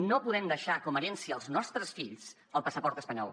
no podem deixar com a herència als nostres fills el passaport espanyol